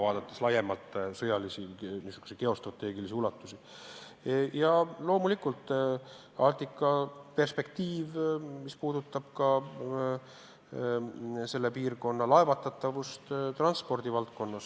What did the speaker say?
Ja loomulikult on tähtis Arktika perspektiiv, mis on seotud laevatatavusega selles piirkonnas, transpordi valdkonnaga.